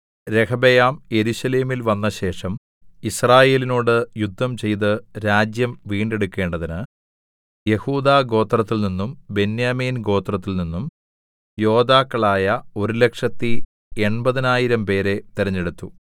രെഹബെയാം യെരൂശലേമിൽ വന്നശേഷം യിസ്രായേലിനോട് യുദ്ധം ചെയ്ത് രാജ്യം വീണ്ടെടുക്കേണ്ടതിന് യെഹൂദാ ഗോത്രത്തിൽനിന്നും ബെന്യാമീൻ ഗോത്രത്തിൽനിന്നും യോദ്ധാക്കളായ ഒരുലക്ഷത്തി എൺപതിനായിരംപേരെ തെരഞ്ഞെടുത്തു